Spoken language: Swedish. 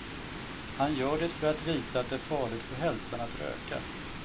Han gör det för att visa att är farligt för hälsan att röka.